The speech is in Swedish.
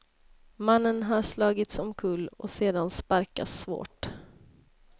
Mannen hade slagits omkull och sedan sparkats svårt.